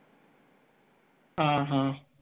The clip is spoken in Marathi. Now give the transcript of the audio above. हां हां